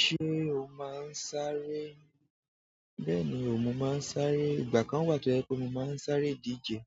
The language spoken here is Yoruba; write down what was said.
Ṣé o máa ń sáré? Bẹ́ẹ̀ni o, mo máa ń sáré. Ìgbà kan wà tó yẹ kó mo máa ń sáré ìdíje,